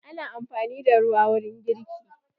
Ana amfani da ruwa wurin girki.